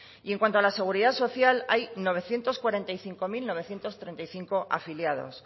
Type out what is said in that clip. y en cuanto a la seguridad social hay novecientos cuarenta y cinco mil novecientos treinta y cinco afiliados